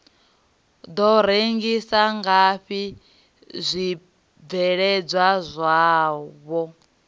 do rengisa ngafhi zwibveledzwa zwavho